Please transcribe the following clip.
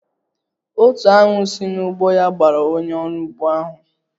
Otu aṅu si n'ugbo ya gbara onye orụ ugbo ahụ